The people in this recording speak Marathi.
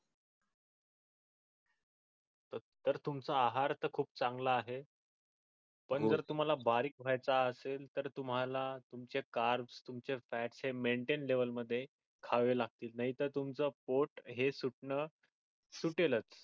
तर तुमचं आहार तर खूप चांगला आहे पण जर तुम्हाला बारीक व्हायच असेल तर तुम्हाला तुमचे Carbs, fats maintain level मध्ये खावे लागतील नाही तर तुमच पोट हे सुटण सुटेलच